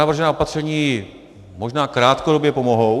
Navržená opatření možná krátkodobě pomohou.